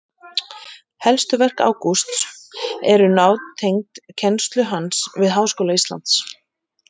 Helstu verk Ágústs eru nátengd kennslu hans við Háskóla Íslands.